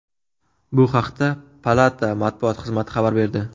Bu haqda palata matbuot xizmati xabar berdi.